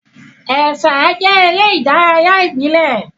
Ẹ̀sà jẹ́ eré ìdárayá ìbílẹ̀.